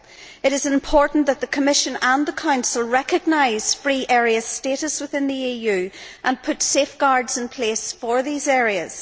It is important that the Commission and the Council recognise free area status within the EU and put safeguards in place for these areas.